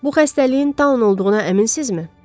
Bu xəstəliyin Taun olduğuna əminsizmi?